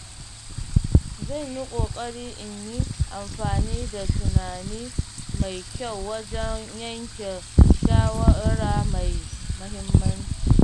Zan yi ƙoƙari in yi amfani da tunani mai kyau wajen yanke shawara mai mahimmanci.